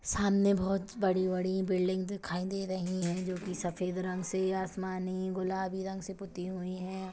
सामने बहुत बड़ी-बड़ी बिल्डिंग दिखाई दे रहीं हैं जो कि सफेद रंग से आसमानी गुलाबी रंग से पुती हुई है।